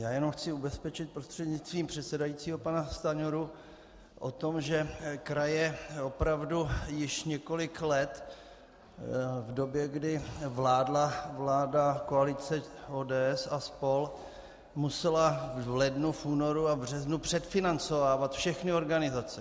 Já jenom chci ubezpečit prostřednictvím předsedajícího pana Stanjuru o tom, že kraje opravdu již několik let v době, kdy vládla vláda koalice ODS a spol., musela v lednu, v únoru a v březnu předfinancovávat všechny organizace.